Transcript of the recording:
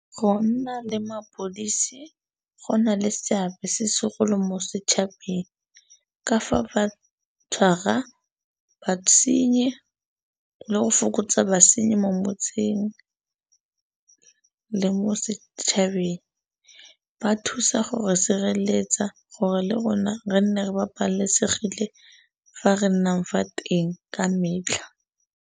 Go nna le mapodisi go na le seabe se segolo mo setšhabeng ka fa ba tshwara basenyi le go fokotsa basenyi mo motseng le mo setšhabeng ba thusa gore sireletsa gore le rona re ne re babalesegile fa re nnang fa teng ka metlha.